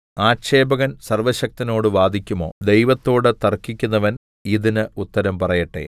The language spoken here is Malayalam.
ആക്ഷേപകൻ സർവ്വശക്തനോട് വാദിക്കുമോ ദൈവത്തോട് തർക്കിക്കുന്നവൻ ഇതിന് ഉത്തരം പറയട്ടെ